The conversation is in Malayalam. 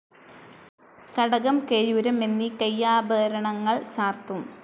കടകം, കേയൂരം, എന്നീ കൈയ്യാഭരണങ്ങൾ ചാർത്തും.